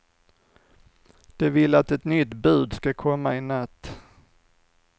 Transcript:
De vill att ett nytt bud ska komma i natt.